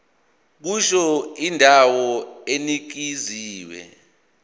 kusho indawo enikezwe